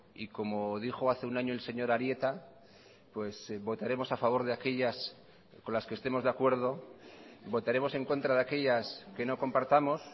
y como dijo hace un año el señor arieta pues votaremos a favor de aquellas con las que estemos de acuerdo votaremos en contra de aquellas que no compartamos